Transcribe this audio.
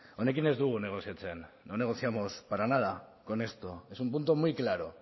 honekin ez dugu negoziatzen no negociamos para nada con esto es un punto muy claro